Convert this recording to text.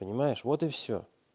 понимаешь вот и всё